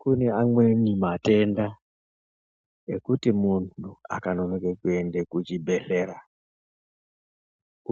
Kune amweni matenda ekuti muntu akanonoke kuende kuchibhedhlera